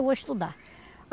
Eu vou estudar.